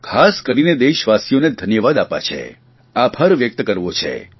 ખાસ કરીને દેશવાસીઓને ધન્યવાદ આપવા છે આભાર વ્યકત કરવો છે